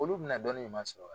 Olu bɛna dɔnni ɲuman sɔrɔ wa?